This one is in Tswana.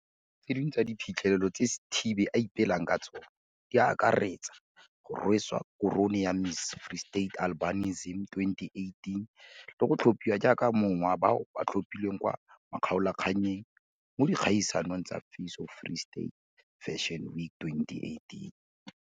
Tse dingwe tsa diphitlhelelo tse Sithibe a ipelang ka tsona di akaretsa go rweswa korone ya Miss Free State Albinism 2018 le go tlhophiwa jaaka yo mongwe wa bao ba tlhophilweng kwa makgaolakgannyeng mo dikgaisanong tsa Face of Free State Fashion Week 2018.